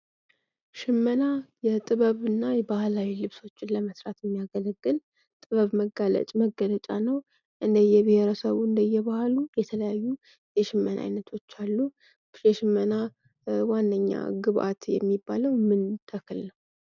ሽመና የጥበብ እና ባህላዊ ልብሶችን ለመስራት የሚያገለግል ጥበብ መገለጫ ነው ። እንደ እየብሄረሰቡ እንደ እየባህሉ የተለያዩ የሽመና አይነቶች አሉ ። የሽመና ዋነኛ ግብአት የሚባለው ምን ተክል ነው?